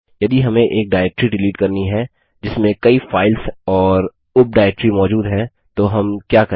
यदि हमें एक डाइरेक्टरी डिलीट करनी है जिसमें कई फाइल्स और उप डाइरेक्टरी मौजूद है तो हम क्या करें